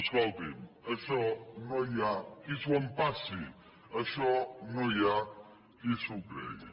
escoltin això no hi ha qui s’ho empassi això no hi ha qui s’ho cregui